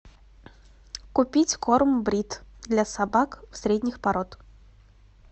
купить корм брит для собак средних пород